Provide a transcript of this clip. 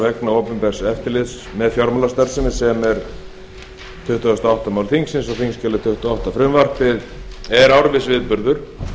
vegna opinbers eftirlits með fjármálastarfsemi sem er tuttugasti og áttunda mál þingsins á þingskjali tuttugu og átta frumvarpið er árviss viðburður